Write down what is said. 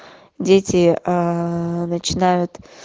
дети аа начинают